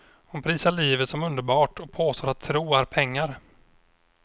Hon prisar livet som underbart och påstår att tro är pengar.